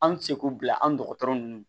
An ti se k'u bila an dɔgɔtɔrɔ nunnu